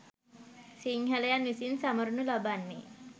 සිංහලයන් විසින් සමරනු ලබන්නේ